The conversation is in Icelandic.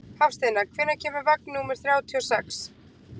Hafsteina, hvenær kemur vagn númer þrjátíu og sex?